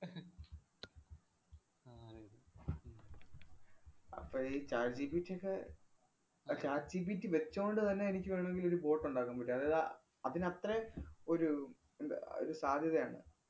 അപ്പഴ് ഈ chat GPT യൊക്കെ ആഹ് chat GPT വച്ചോണ്ട് തന്നെ എനിക്ക് വേണോങ്കിലൊരു boat ഒണ്ടാക്കാന്‍ പറ്റും. അതായത്, അഹ് അതിനത്രയും ഒരു എന്താ അഹ് ഒരു സാധ്യതയാണ്.